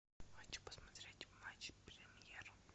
хочу посмотреть матч премьер